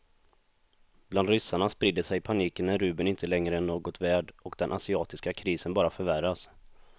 Bland ryssarna sprider sig paniken när rubeln inte längre är något värd och den asiatiska krisen bara förvärras.